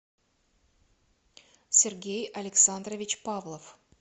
сергей александрович павлов